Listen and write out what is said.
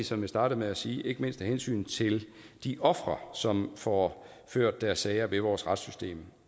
som jeg startede med at sige ikke mindst vigtigt af hensyn til de ofre som får ført deres sager i vores retssystem